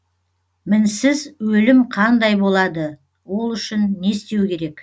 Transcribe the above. мінсіз өлім қандай болады ол үшін не істеу керек